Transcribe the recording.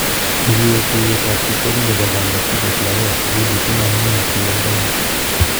Ngiwe tuiyetab kiswahili nebo konetik ak lagokab sukul itinye amune asibabaitu